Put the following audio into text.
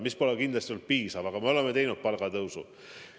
See pole kindlasti olnud piisav, aga me oleme teinud palgatõusu.